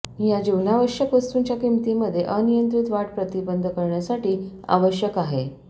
या जीवनावश्यक वस्तूंच्या किमती मध्ये अनियंत्रित वाढ प्रतिबंध करण्यासाठी आवश्यक आहे